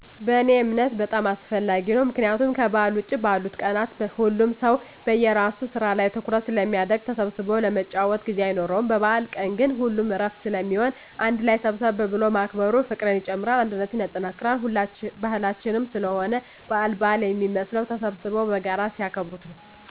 በእኔ እምነት በጣም አስፈላጊ ነው። ምክንያቱም ከበዓል ውጭ ባሉት ቀናት ሁሉም ሰው በየራሱ ስራ ላይ ትኩረት ስለሚያደረግ ተሰብስቦ ለመጨዋወት ጊዜ አይኖርም። በበአል ቀን ግን ሁሉም እረፍት ስለሚሆን አንድ ላይ ሰብሰብ ብሎ ማክበሩ ፍቅርን ይጨምራል አንድነትን ያጠናክራል። ባህላችንም ስለሆነ በአል በአል የሚመስለው ተሰብስበው በጋራ ሲያከብሩት ነው።